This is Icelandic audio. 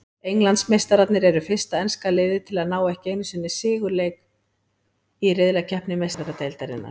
Englandsmeistararnir eru fyrsta enska liðið til að ná ekki einu sigurleik í riðlakeppni Meistaradeildarinnar.